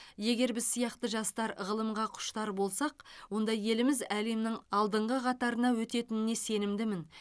егер біз сияқты жастар ғылымға құштар болсақ онда еліміз әлемнің алдыңғы қатарына өтетініне сенімдімін